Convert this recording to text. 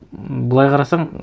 м былай қарасаң